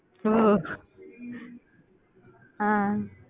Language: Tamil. ஆஹ்